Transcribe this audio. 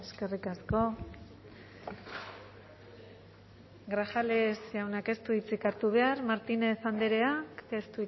eskerrik asko grajales jaunak ez du hitzik hartu behar martínez andrea ez